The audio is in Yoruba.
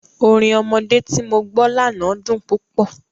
Orin ọmọdé tí mo gbọ́ lánàá dùn púpọ̀.